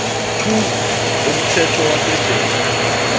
two umthetho wa se tjele